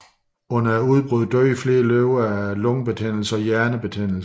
Under udbruddet døde flere løver af lungebetændelse og hjernebetændelse